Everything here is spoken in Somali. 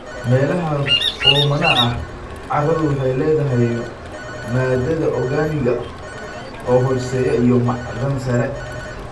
Meelaha oomanaha ah, carradu waxay leedahay maadada organic-ga ah oo hooseeya iyo macdan sare.